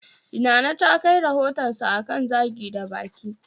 Nana ta kai rohotansa akan Zagi da baki